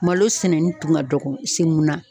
Malo sɛnɛni tun ka dɔgɔ kase mun na